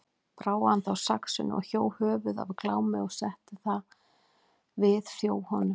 Brá hann þá saxinu og hjó höfuð af Glámi og setti það við þjó honum.